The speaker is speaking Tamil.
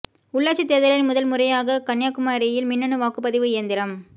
உள்ளாட்சித் தேர்தலில் முதல் முறையாக கன்னியாகுமரியில் மின்னணு வாக்குப் பதிவு இயந்திரம்